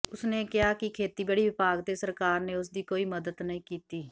ਉਸ ਨੇ ਕਿਹਾ ਕਿ ਖੇਤੀਬਾੜੀ ਵਿਭਾਗ ਤੇ ਸਰਕਾਰ ਨੇ ਉਸ ਦੀ ਕੋਈ ਮਦਦ ਨਹੀਂ ਕੀਤੀ